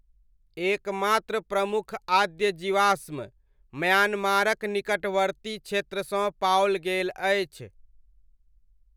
एकमात्र प्रमुख आद्य जीवाश्म म्यान्मारक निकटवर्ती क्षेत्रसँ पाओल गेल अछि।